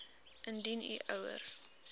indien u ouer